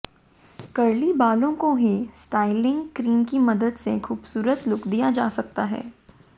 curly बालों को ही स्टाइलिंग क्रीम की मदद से खूबसूरत लुक दिया जा सकता है